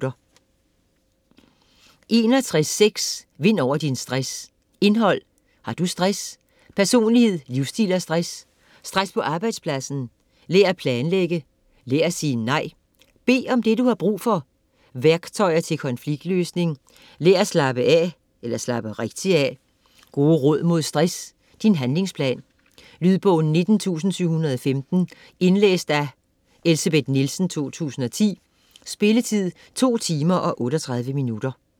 61.6 Vind over din stress Indhold: Har du stress?; Personlighed, livsstil og stress; Stress på arbejdspladsen; Lær at planlægge; Lær at sige nej; Bed om det du har brug for; Værktøjer til konfliktløsning; Lær at slappe (rigtigt) af; Gode råd mod stress; Din handlingsplan. Lydbog 19715 Indlæst af Elsebeth Nielsen, 2010. Spilletid: 2 timer, 38 minutter.